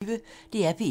DR P1